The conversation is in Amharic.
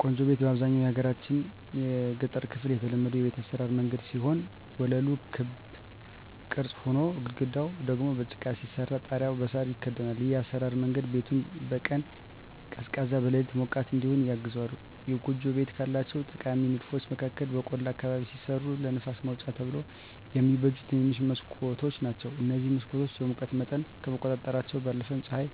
ጎጆ ቤት በአብዛኛው የሀገራችን የገጠር ክፍል የተለመዱ የቤት አሰራር መንገድ ሲሆን ወለሉ በክብ ቅርጽ ሆኖ፣ ግድግዳው ደግሞ በጭቃ ሲሰራ ጣሪያው በሳር ይከደናል። ይህ የአሰራር መንገድ ቤቱን በቀን ቀዝቃዛ፣ በሌሊት ሞቃት እዲሆን ያግዘዋል። የጎጆ ቤቶች ካላቸው ጠቃሚ ንድፎች መካከል በቆላ አካባቢ ሲሰሩ ለንፋስ ማውጫ ተብለው የሚበጁ ትንንሽ መስኮቶች ናቸዉ። እነዚህ መስኮቶች የሙቀት መጠንን ከመቆጣጠራቸው ባለፈም ፀሐይ